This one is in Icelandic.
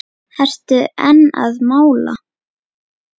Ertu enn að mála?